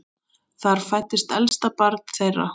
Þar fæddist elsta barn þeirra.